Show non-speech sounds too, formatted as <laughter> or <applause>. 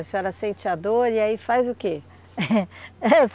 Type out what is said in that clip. A senhora sente a dor e aí faz o que? <laughs>